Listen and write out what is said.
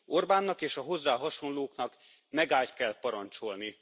Orbánnak és a hozzá hasonlóknak megálljt kell parancsolni.